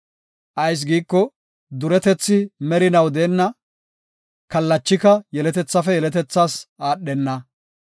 Ayis giiko, duretethi merinaw deenna; kallachika yeletethafe yeletethaas aadhenna.